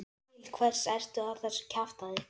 Til hvers ertu að þessu kjaftæði?